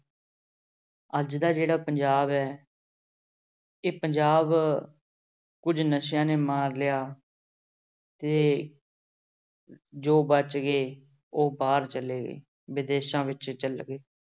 ਅੱਜ ਦਾ ਜਿਹੜਾ ਪੰਜਾਬ ਹੈ ਇਹ ਪੰਜਾਬ ਕੁੱਝ ਨਸ਼ਿਆਂ ਨੇ ਮਾਰ ਲਿਆ ਤੇ ਜੋ ਬਚ ਗਏ ਉਹ ਬਾਹਰ ਚਲੇ ਗਏ, ਵਿਦੇਸ਼ਾਂ ਵਿੱਚ ਚਲੇ ਗਏ।